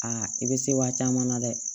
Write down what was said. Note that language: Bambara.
Aa i bɛ se wa caman na dɛ